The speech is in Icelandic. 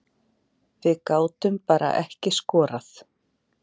Við gátum bara ekki skorað